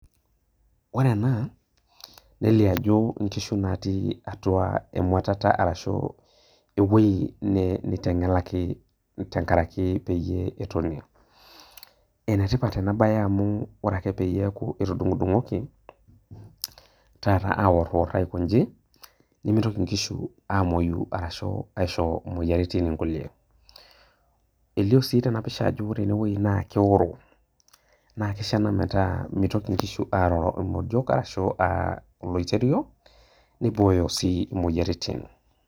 Ore ena neliobajo nkishu natii atua emuatata ashu ewoi nitengelaki tenkaraki peyie etoni , enetipat enabae amu ore peaku etudungoki taata aorior aiko nji nimitoki nkishu amoyu ashu aisho moyiaritin nkulie ,elio sii tenapisha ajo ore enewueji na keoro, na kishaa pemeroro nkishu emodio ashu olooterio nibooyo sii moyiaritin.